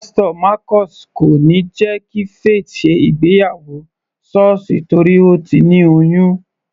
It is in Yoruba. Pásítò Marcus kò níí jẹ́ kí Faith ṣe ìgbéyàwó sọ́ọ̀sì torí Ó ti ní oyún.